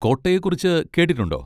കോട്ടയെക്കുറിച്ച് കേട്ടിട്ടുണ്ടോ?